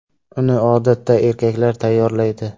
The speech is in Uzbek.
Uni odatda erkaklar tayyorlaydi.